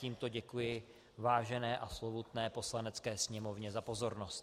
Tímto děkuji vážené a slovutné Poslanecké sněmovně za pozornost.